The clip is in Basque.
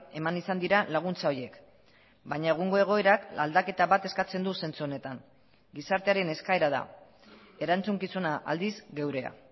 eman izan dira laguntza horiek baina egungo egoerak aldaketa bat eskatzen du zentzu honetan gizartearen eskaera da erantzukizuna aldiz geurea